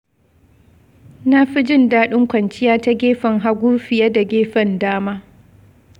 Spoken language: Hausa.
Na fi jin daɗin kwanciya ta gefen hagu fiye da gefen dama.